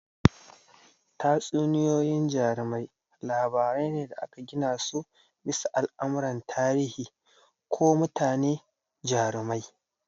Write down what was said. Tatsuniyoyin jarumai labarai ne da aka gina su bisa al'amuran tarihi ko mutane jarumai.